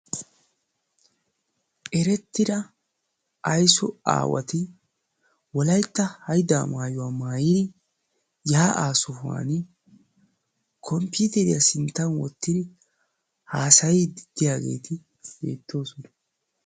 Eretira aysso aawati Wolaytta haydda maayuwa maayyidi yaa'a sohuwaan komppiteriyaa sinttan wottidi haassayddi diyaageeti beettoosona.